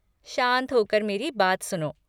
शांत होकर मेरी बात सुनो।